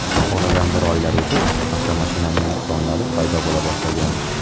Oradan bir oylar o‘tib, avtomashinaning nuqsonlari paydo bo‘la boshlagan.